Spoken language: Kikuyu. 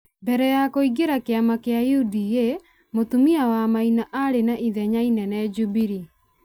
Mbere wa kũingĩra kĩama kĩa UDA, Mũtumia wa Maina arĩ na ithenya inene jubilee.